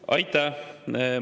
Aitäh!